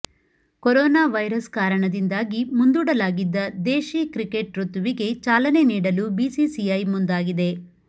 coronavirus ಕಾರಣದಿಂದಾಗಿ ಮುಂದೂಡಲಾಗಿದ್ದ ದೇಶಿ ಕ್ರಿಕೆಟ್ ಋುತುವಿಗೆ ಚಾಲನೆ ನೀಡಲು ಬಿಸಿಸಿಐ ಮುಂದಾಗಿದೆ